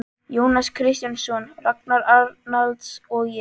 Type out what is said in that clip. Jónas Kristjánsson, Ragnar Arnalds og ég.